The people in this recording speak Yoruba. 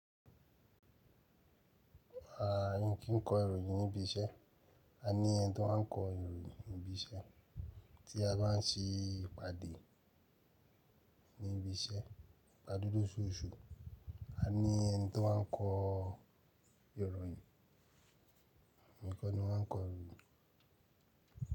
A n kìí kọ ìròyìn ní ibi iṣẹ́. A ní ẹni tí ó ń kọ ìròyìn ní ibi iṣẹ́ tí a bá ń ṣe ìpàdé ní ibi iṣẹ́. Ípàdé l'ọṣọṣù. A ní ẹni tí ó ń kọ ìròyìn. Ǹkan ni wọ́n ń kọ ìròyìn.